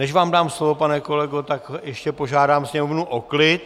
Než vám dám slovo, pane kolego, tak ještě požádám sněmovnu o klid.